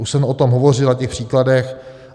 Už jsem o tom hovořil na těch příkladech.